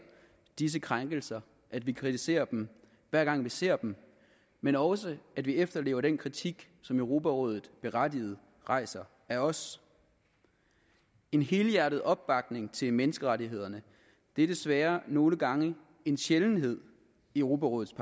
disse krænkelser at vi kritiserer dem hver gang vi ser dem men også at vi efterlever den kritik som europarådet berettiget rejser af os en helhjertet opbakning til menneskerettighederne er desværre nogle gange en sjældenhed i europarådets